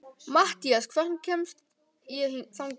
Mathías, hvernig kemst ég þangað?